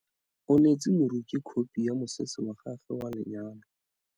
O neetse moroki khopi ya mosese wa gagwe wa lenyalo.